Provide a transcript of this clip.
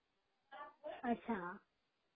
अच्छा